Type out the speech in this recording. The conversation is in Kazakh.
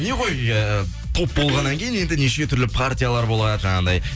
не ғой э топ болғаннан кейін енді неше түрлі партиялар болады жаңағындай